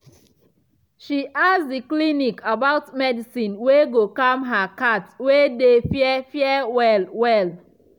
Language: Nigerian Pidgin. she ask the clinic about medicine wey go calm her cat wey dey fear fear well well